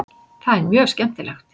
Það er mjög skemmtilegt.